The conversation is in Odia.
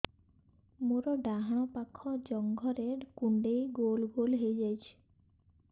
ମୋର ଡାହାଣ ପାଖ ଜଙ୍ଘରେ କୁଣ୍ଡେଇ ଗୋଲ ଗୋଲ ହେଇଯାଉଛି